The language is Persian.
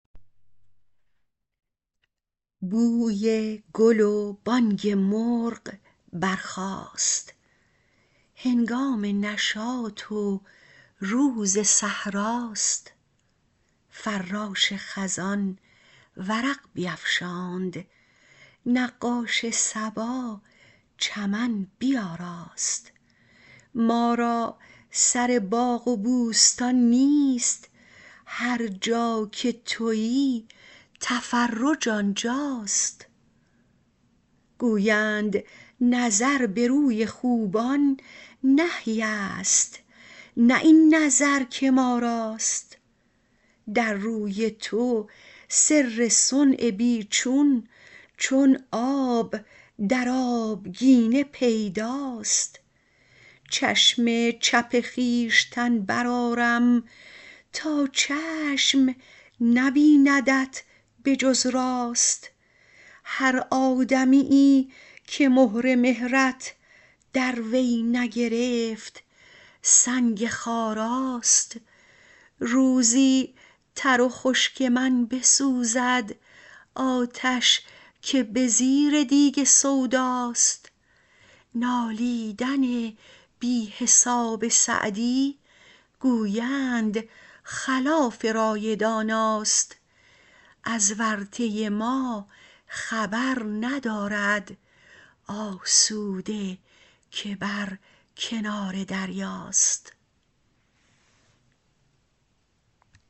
بوی گل و بانگ مرغ برخاست هنگام نشاط و روز صحرا ست فراش خزان ورق بیفشاند نقاش صبا چمن بیاراست ما را سر باغ و بوستان نیست هر جا که تویی تفرج آنجا ست گویند نظر به روی خوبان نهی ست نه این نظر که ما راست در روی تو سر صنع بی چون چون آب در آبگینه پیدا ست چشم چپ خویشتن برآرم تا چشم نبیندت به جز راست هر آدمیی که مهر مهرت در وی نگرفت سنگ خارا ست روزی تر و خشک من بسوزد آتش که به زیر دیگ سودا ست نالیدن بی حساب سعدی گویند خلاف رای دانا ست از ورطه ما خبر ندارد آسوده که بر کنار دریا ست